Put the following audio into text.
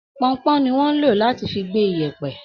ponpon ni wón ń lò láti fi gbé ìyẹ̀pẹ̀